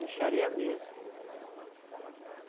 mixaria mesmo.